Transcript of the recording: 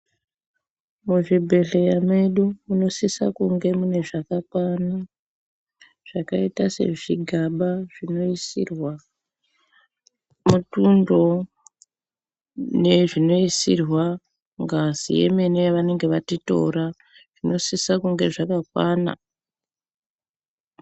Muzvibhedhleya medu munosisa kunge mune zvakakwana. Zvakaita sezvigaba zvinoisirwa mutundo nezvinoisirwa ngazi yemene yavanenga vatitora zvinosisa kunge zvakakwana.